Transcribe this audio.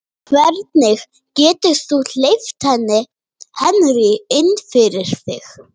Hvernig getur þú hleypt Henry inn fyrir þig?